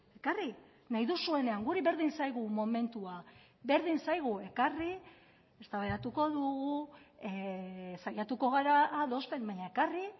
ekarri nahi duzuenean guri berdin zaigu momentua berdin zaigu ekarri eztabaidatuko dugu saiatuko gara adosten baina ekarri